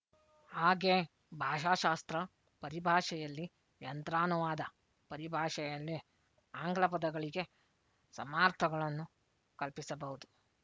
ಹಾಗೇ ಭಾಷಾಶಾಸ್ತ್ರ ಪರಿಭಾಷೆಯಲ್ಲಿ ಯಂತ್ರಾನುವಾದ ಪರಿಭಾಷೆಯಲ್ಲಿ ಆಂಗ್ಲ ಪದಗಳಿಗೆ ಸಮಾರ್ಥಗಳನ್ನು ಕಲ್ಪಿಸಬಹುದು